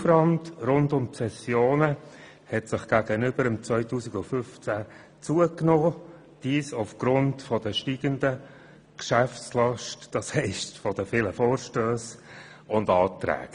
Der Aufwand rund um die Sessionen hat gegenüber 2015 zugenommen, dies aufgrund der steigenden Geschäftslast, das heisst, aufgrund der vielen Vorstösse und Anträge.